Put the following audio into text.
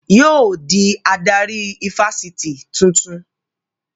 Yóò dí adarí ifásitì tuntun